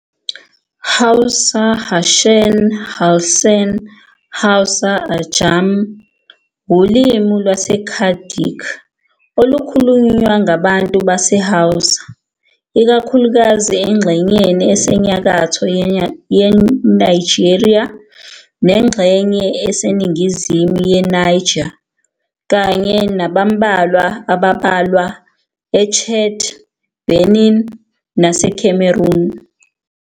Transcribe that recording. Hausa, Harshen, Halshen Hausa, Ajami, wulimi lwesiChadic olukhulunywa ngabantu baseHausa, ikakhulukazi engxenyeni esenyakatho yeNigeria nengxenye eseningizimu yeNiger, kanye nabambalwa abambalwa eChad, Benin naseCameroon.